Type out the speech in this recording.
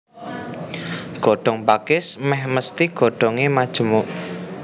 Godhong pakis mèh mesthi godhongé majemuk